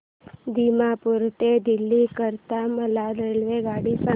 दिमापूर ते दिल्ली करीता मला रेल्वेगाडी सांगा